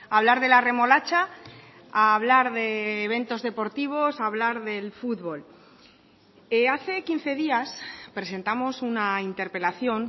hablar de la remolacha a hablar de eventos deportivos a hablar del fútbol hace quince días presentamos una interpelación